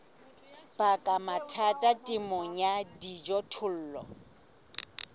baka mathata temong ya dijothollo